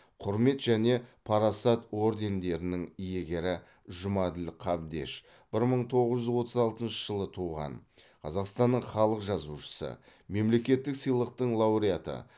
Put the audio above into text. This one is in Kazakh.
құрмет және парасат ордендерінің иегері жұмаділ қабдеш бір мың тоғыз жүз отыз алтыншы жылы туған қазақстанның халық жазушысы мемлекеттік сыйлықтың лауреаты